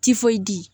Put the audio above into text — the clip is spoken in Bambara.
Tifoyidi